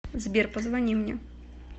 сбер позвони мне